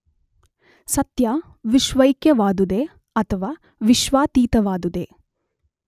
ಸತ್ಯ ವಿಶ್ವೈಕ್ಯವಾದುದೇ ಅಥವಾ ವಿಶ್ವಾತೀತವಾದುದೇ.